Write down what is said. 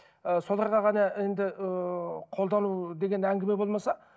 ы соларға ғана енді ыыы қолдану деген әңгіме болмаса